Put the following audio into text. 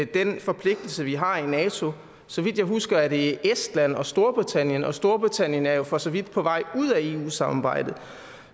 den forpligtelse vi har i nato så vidt jeg husker er det estland og storbritannien og storbritannien er jo for så vidt på vej ud af eu samarbejdet